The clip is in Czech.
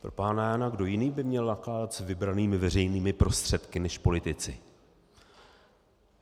Pro pána Jána, kdo jiný by měl nakládat s vybranými veřejnými prostředky než politici?!